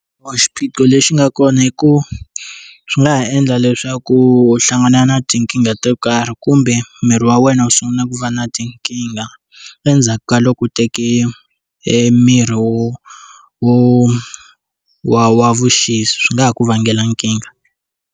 Munhu xiphiqo lexi nga kona hi ku swi nga ha endla leswaku u hlangana na tinkingha to karhi kumbe miri wa wena u sungula ku va na tinkingha endzhaku ka loko u teke miri wo wo wa vuxisi swi nga ha ku vangela nkingha.